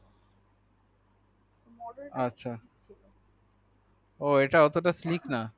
আচ্ছা ও এটাতে স্লিক না